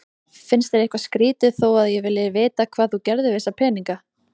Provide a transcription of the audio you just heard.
Finnst þér eitthvað skrýtið þó að ég vilji vita hvað þú gerðir við þessa peninga?